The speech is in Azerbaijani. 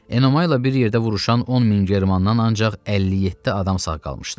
Enomayla bir yerdə vuruşan 10 min Germandan ancaq 57 adam sağ qalmışdı.